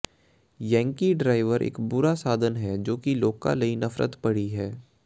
Yankee driver ਇਕ ਬੁਰਾ ਸਾਧਨ ਹੈ ਜੋ ਕਿ ਲੋਕਾਂ ਲਈ ਨਫ਼ਰਤ ਭਰੀ ਹੈ